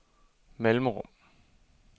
mellemrum